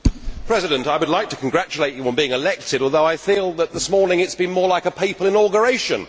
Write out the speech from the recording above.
Mr President, I would like to congratulate you on being elected although I feel that this morning it has been more like a papal inauguration.